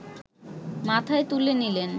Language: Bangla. মাথায় তুলে নিলেন